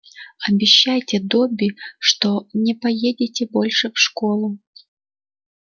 обещайте добби что не поедете больше в школу